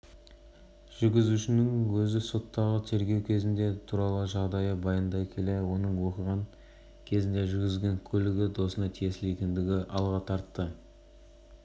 қарастырылған сондай-ақ белгілі бір лауазымды орындарда отыруға және де қандайда бір қызметпен айналысуға үш жылға